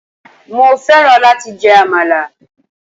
Mo fẹ́ran láti jẹ àmàlà.